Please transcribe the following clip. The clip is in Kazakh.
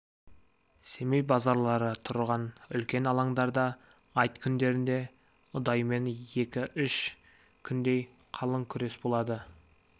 семей базарлары тұрған үлкен алаңдарда айт күндерінде ұдайымен екі-үш күндей қалың күрес болады